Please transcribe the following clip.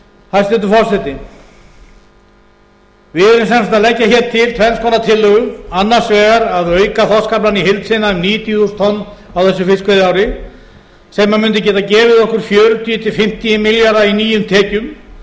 hæstvirtur forseti við erum sem sagt að leggja til tvenns konar tillögur annars vegar að auka þorskaflann í heild sinni um níutíu þúsund tonn á þessu fiskveiðiári sem mundi geta gefið okkur fjörutíu til fimmtíu milljarða í nýjum tekjum